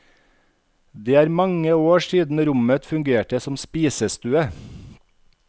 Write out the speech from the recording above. Det er mange år siden rommet fungerte som spisestue.